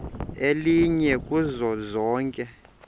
elinye kuzo zonke